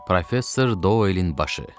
Professor Doelin başı.